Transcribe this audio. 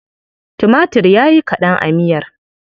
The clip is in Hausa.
Tumatir ya yi kaɗan a miyar.